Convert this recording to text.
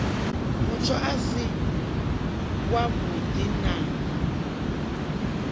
mutsho a si avhudi na